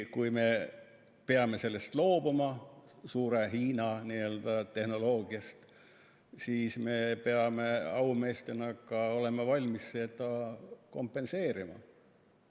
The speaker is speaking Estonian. kui me peame loobuma sellest suure Hiina tehnoloogiast, siis me peame aumeestena olema valmis seda ka kompenseerima.